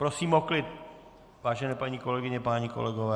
Prosím o klid, vážené paní kolegyně, páni kolegové.